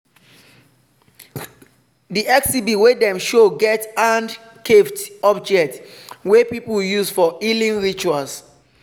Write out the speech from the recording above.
di exhibit wey dem show get hand-carved object wey people use for healing rituals.